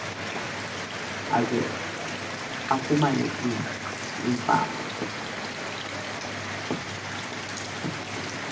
aze afumane ifama